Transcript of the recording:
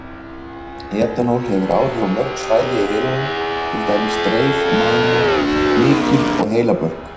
Etanól hefur áhrif á mörg svæði í heilanum, til dæmis dreif, mænu, hnykil og heilabörk.